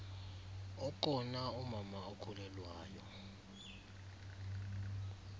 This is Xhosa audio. okona umama okhulelwayo